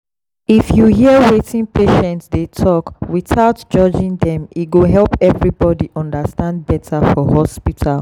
if you hear wetin patient dey talk without judging dem e go help everybody understand better for hospital.